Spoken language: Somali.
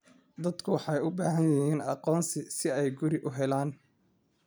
Dadku waxay u baahan yihiin aqoonsi si ay guri u helaan.